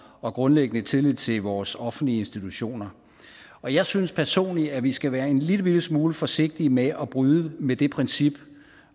og grundlæggende tillid til vores offentlige institutioner og jeg synes personligt at vi skal være en lillebitte smule forsigtige med at bryde med det princip